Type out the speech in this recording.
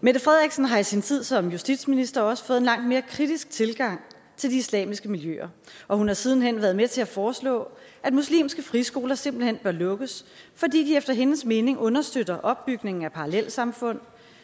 mette frederiksen har i sin tid som justitsminister også fået en langt mere kritisk tilgang til de islamiske miljøer og hun har siden hen været med til at foreslå at muslimske friskoler simpelt hen bør lukkes fordi de efter hendes mening understøtter opbygningen af parallelsamfund